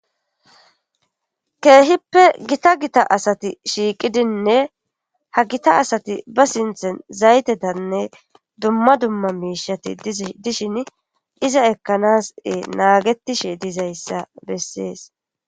Keehippe gita gita asati shiiqidinne ha gita asati ba sinththen zaytetanne dumma dumma miishshati dishini iza ekkanas naagetishe dizayssa bessees.